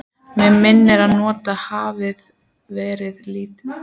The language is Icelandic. Mig minnir, að notaðar hafi verið litlar hrærivélar við steypuna.